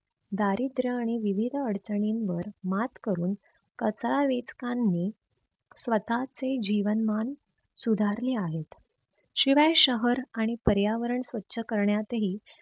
दारिद्र आणि विविध अडचणींवर मात करून कचरा वेचकांनी स्वतःचे जीवन मान सुधारले आहेत. शिवाय शहर आणि पर्यावरण स्वछ करण्यातही